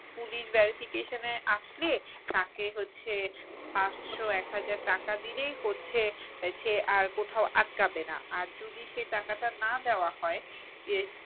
police verification এ আসলে তাকে হচ্ছে পাঁচশো এক হাজার টাকা দিলেই হচ্ছে সে আর কোথাও আটকাবে না আর যদি সে টাকাটা না দেওয়া হয়